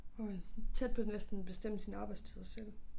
Hvor jeg sådan tæt på næsten bestemme sine arbejdstider selv